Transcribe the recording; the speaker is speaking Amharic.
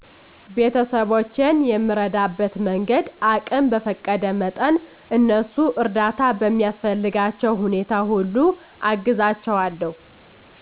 ቤተስቦቼን የምረዳበት መንገድ አቅም በፈቀደ መጠን እነሱ እርዳታ በሚያስፈልግባቸዉ ሁኔታ ሁሉ አግዛለዉ